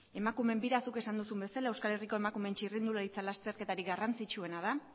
emakumeen bira zuk esan duzu bezala euskal herriko emakumeen txirrindularitza lasterketarik garrantzitsuena da